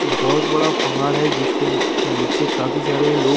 य बोत बड़ा पहाड़ है जिसके निचे बोहोत सारे लोग--